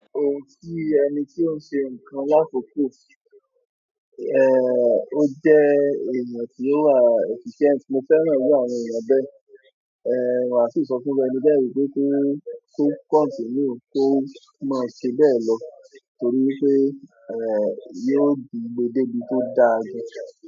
Ohun tí ẹni tí ó ń ṣe nǹkan l'àkókò, ó jẹ́ ẹ̀èyàn tí ó wà efficient. Mo fẹ́ràn irú àwọn èèyàn bẹ́ẹ̀, wà síì sọ fún írú ẹni bẹ́ẹ̀ wípé kó kọ́ continue, kó máa ṣe bẹ́ẹ̀ lọ torí wípé, yió gbe dé bí tó dáa gan.